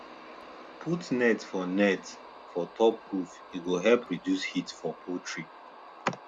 put net for net for top roof e go help reduce heat for poultry